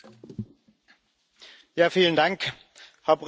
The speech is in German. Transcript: Herr Präsident, Herr Kommissar, liebe Kolleginnen und Kollegen!